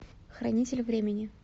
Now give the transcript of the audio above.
хранитель времени